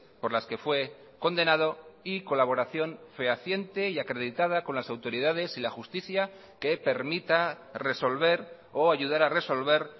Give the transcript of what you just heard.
por las que fue condenado y colaboración fehaciente y acreditada con las autoridades y la justicia que permita resolver o ayudar a resolver